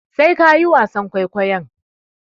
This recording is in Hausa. Sai ka yi wasan kwaikwayon.